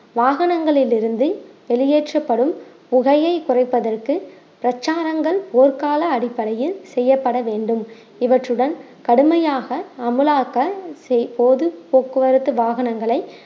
வாகனங்களில் இருந்து வெளியேற்றப்படும் புகையை குறைப்பதற்கு பிரச்சாரங்கள் போர்க்கால அடிப்படையில் செய்யப்பட வேண்டும் இவற்றுடன் கடுமையாக அமுலாக்க செய்~ பொது போக்குவரத்து வாகனங்களை